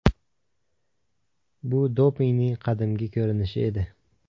Bu dopingning qadimgi ko‘rinishi edi.